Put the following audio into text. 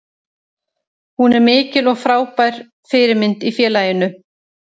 Hún er mikil og frábær fyrirmynd í félaginu.